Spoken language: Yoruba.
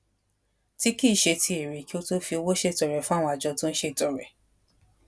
tí kì í ṣe ti èrè kí ó tó fi owó ṣètọrẹ fún àwọn àjọ tó ń ṣètọrẹ